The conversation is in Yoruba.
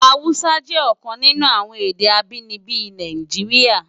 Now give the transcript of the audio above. Hàúsá jè òkan ninú awòn èdè ábìníbi Náijiriá